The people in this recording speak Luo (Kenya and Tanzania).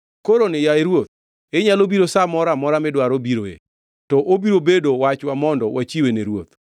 Koroni, yaye Ruoth, inyalo biro sa moro amora midwaro biroe, to obiro bedo wachwa mondo wachiwe ne ruoth.”